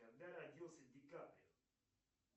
когда родился ди каприо